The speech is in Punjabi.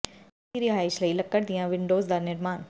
ਗਰਮੀ ਦੀ ਰਿਹਾਇਸ਼ ਲਈ ਲੱਕੜ ਦੀਆਂ ਵਿੰਡੋਜ਼ ਦਾ ਨਿਰਮਾਣ